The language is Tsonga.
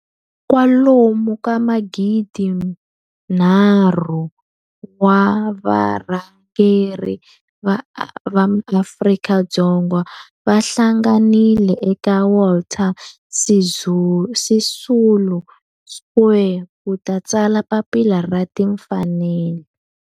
kwalomu ka magidi nharhu wa varhangeri va maAfrika-Dzonga va hlanganile eka Walter Sisulu Square ku ta tsala Papila ra Tinfanelo.